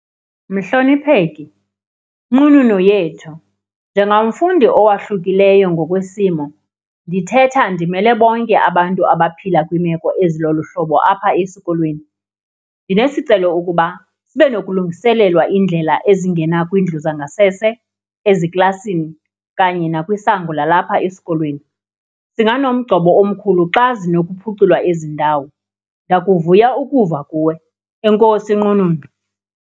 Mhlonipheki, nqununu yethu, njengamfundi owahlukileyo ngokwesimo ndithetha ndimele bonke abantu abaphila kwimeko ezilolu hlobo apha esikolweni. Ndinesicelo ukuba sibe nokulungiselelwa indlela ezingena kwindlu zangasese, eziklasini kanye nakwisango lalapha esikolweni. Singanomgcobo omkhulu xa zinokuphuculwa ezi ndawo. Ndakuvuya ukuva kuwe, enkosi Nqununu.